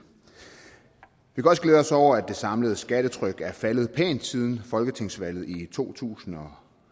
vi kan også glæde os over at det samlede skattetryk er faldet pænt siden folketingsvalget i to tusind og